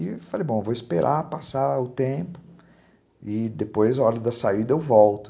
E falei, bom, vou esperar passar o tempo e depois, na hora da saída, eu volto.